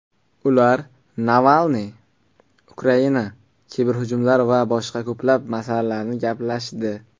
Ular Navalniy, Ukraina, kiberhujumlar va boshqa ko‘plab masalalarni gaplashdi.